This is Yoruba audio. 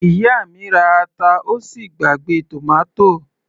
Ìyá mi ra ata ó sì gbàgbé tòmátò